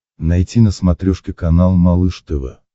найти на смотрешке канал малыш тв